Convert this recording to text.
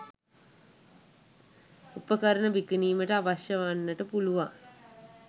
උපකරණ විකිණීමට අවශ්‍ය වන්නට පුළුවන්